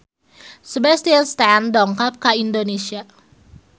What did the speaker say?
Sebastian Stan dongkap ka Indonesia